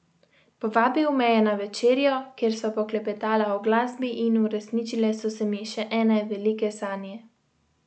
Povabil me je na večerjo, kjer sva poklepetala o glasbi in uresničile so se mi še ene velike sanje!